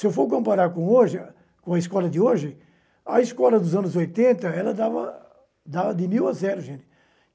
Se eu for comparar com hoje, com a escola de hoje, a escola dos anos oitenta, ela dava, dava de mil a zero, gente.